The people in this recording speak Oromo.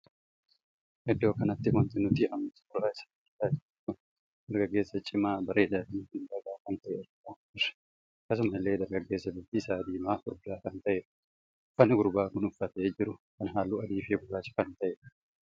Iddoo kanatti wanti nuti amma suuraa isaa argaa jirru kun dargaggeessa cimaa bareedaa fi miidhagaa kan tahee argaa jirra. akkasuma illee dargaggeessa bifti isaa diimaa furdaa kan tahedha. uffannaa gurbaan kun uffatee jiru kun halluu adii fi gurraacha kan tahedha.